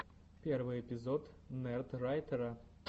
первый эпизод нердрайтера